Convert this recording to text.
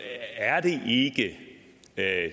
at